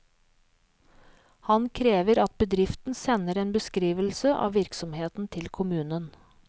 Han krever at bedriften sender en beskrivelse av virksomheten til kommunen.